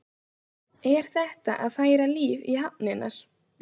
Er þetta að færa líf í hafnirnar?